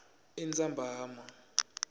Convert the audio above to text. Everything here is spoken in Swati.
entsambama